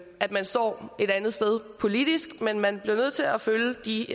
at man står et andet sted politisk men man bliver nødt til at følge de